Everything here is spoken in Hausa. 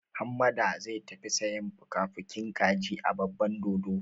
Hammada zai tafi sayan fukafukin kaji a babban dodo.